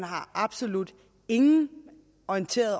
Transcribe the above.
absolut ingen orientering